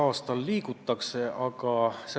Hea istungi juhataja!